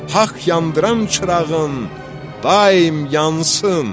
Haqq yandıran çırağın daim yansın.